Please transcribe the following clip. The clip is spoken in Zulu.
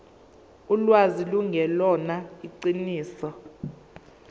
ulwazi lungelona iqiniso